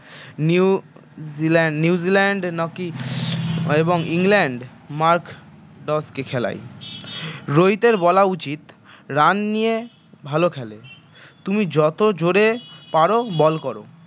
new zealand new zealand এবং england Mark ডসকে খেলায় রোহিতের বলা উচিত run নিয়ে ভাল খেলে তুমি যত জোরে পার বল কর